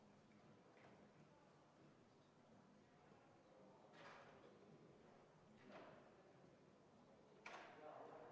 Palun tuua hääletamiskastid saali.